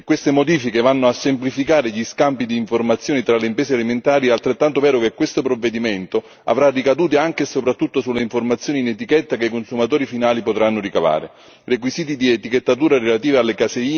Però se è vero che queste modifiche vanno a semplificare gli scambi di informazioni tra le imprese alimentari, è altrettanto vero che questo provvedimento avrà ricadute anche e soprattutto sulle informazioni in etichetta che i consumatori finali potranno ricavare.